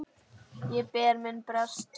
Ég ber minn brest.